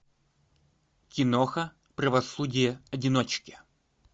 киноха правосудие одиночки